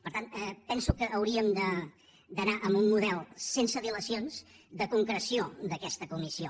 per tant penso que hauríem d’anar a un model sense dilacions de concreció d’aquesta comissió